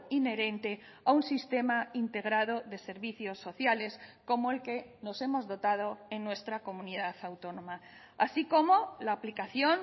inherente a un sistema integrado de servicios sociales como el que nos hemos dotado en nuestra comunidad autónoma así como la aplicación